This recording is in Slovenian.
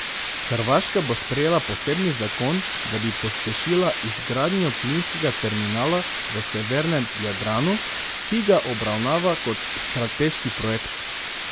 Hrvaška bo sprejela posebni zakon, da bi pospešila izgradnjo plinskega terminala v severnem Jadranu, ki ga obravnava kot strateški projekt.